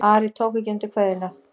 Ari tók ekki undir kveðjuna.